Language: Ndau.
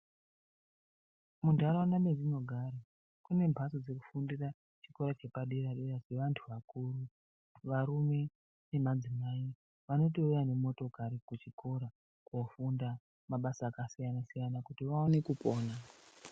Muntaraunda mendinogara, kune mhatso dzekufundira chikora chepadera-dera chevantu vakuru. Varume nemadzimai vanotouya nemotokari kuchikora, kofunda, mabasa akasiyana-siyana kuti vaone kupona.